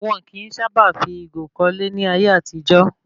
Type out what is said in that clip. Wọn kìí sábà fi ìgò kọ́lé ní ayé àtijó